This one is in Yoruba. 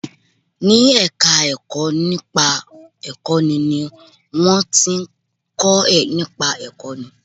Ní ẹ̀ka ẹ̀kọ́ nípa ìkọ́ni ni wọ́n ti ń kọ́ nípa ìkọ́ni